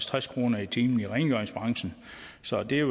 tres kroner i timen i rengøringsbranchen så det